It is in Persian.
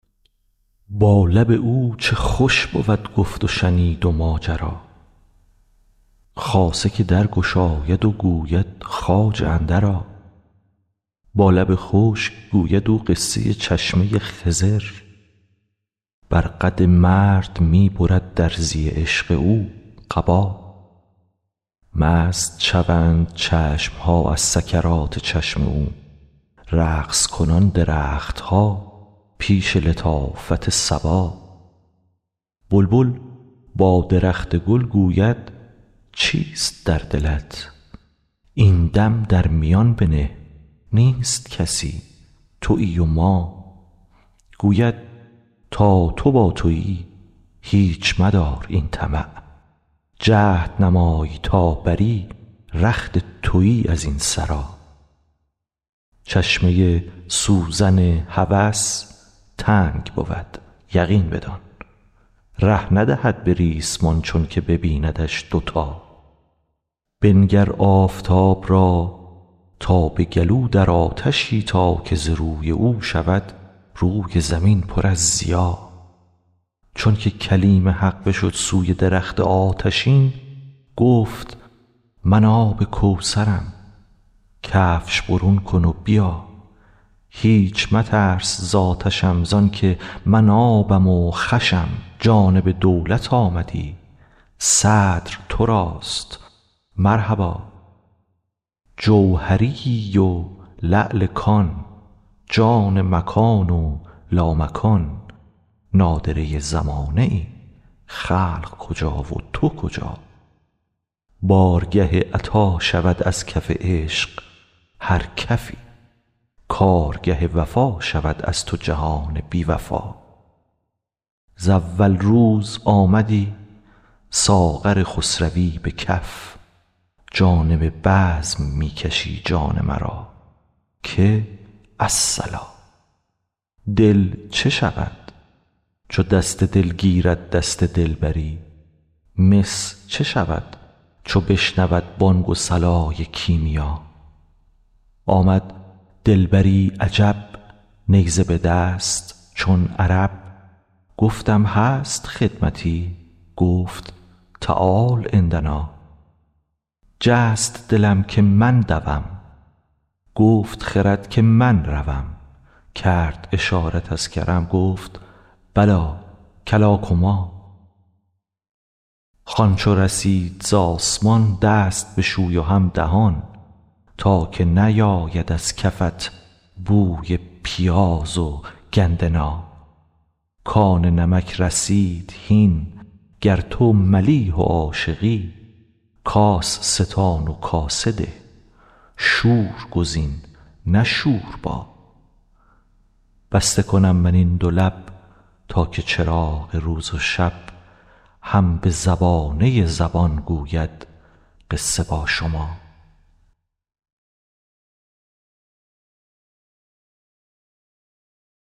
با لب او چه خوش بود گفت و شنید و ماجرا خاصه که در گشاید و گوید خواجه اندرآ با لب خشک گوید او قصه چشمه ی خضر بر قد مرد می برد درزی عشق او قبا مست شوند چشم ها از سکرات چشم او رقص کنان درخت ها پیش لطافت صبا بلبل با درخت گل گوید چیست در دلت این دم در میان بنه نیست کسی توی و ما گوید تا تو با توی هیچ مدار این طمع جهد نمای تا بری رخت توی از این سرا چشمه ی سوزن هوس تنگ بود یقین بدان ره ندهد به ریسمان چونک ببیندش دوتا بنگر آفتاب را تا به گلو در آتشی تا که ز روی او شود روی زمین پر از ضیا چونک کلیم حق بشد سوی درخت آتشین گفت من آب کوثرم کفش برون کن و بیا هیچ مترس ز آتشم زانک من آبم و خوشم جانب دولت آمدی صدر تراست مرحبا جوهریی و لعل کان جان مکان و لامکان نادره ی زمانه ای خلق کجا و تو کجا بارگه عطا شود از کف عشق هر کفی کارگه وفا شود از تو جهان بی وفا ز اول روز آمدی ساغر خسروی به کف جانب بزم می کشی جان مرا که الصلا دل چه شود چو دست دل گیرد دست دلبری مس چه شود چو بشنود بانگ و صلای کیمیا آمد دلبری عجب نیزه به دست چون عرب گفتم هست خدمتی گفت تعال عندنا جست دلم که من دوم گفت خرد که من روم کرد اشارت از کرم گفت بلی کلا کما خوان چو رسید از آسمان دست بشوی و هم دهان تا که نیاید از کفت بوی پیاز و گندنا کان نمک رسید هین گر تو ملیح و عاشقی کاس ستان و کاسه ده شور گزین نه شوربا بسته کنم من این دو لب تا که چراغ روز و شب هم به زبانه ی زبان گوید قصه با شما